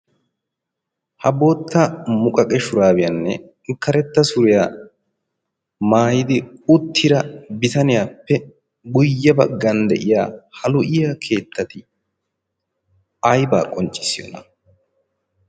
Ha bootta muqaqe shuraabiyaanne karetta suriyaa maayidi uttida bitaniyaappe guyye baggan de'iya ha lo'iya keettati aybaa qonccissiyoona?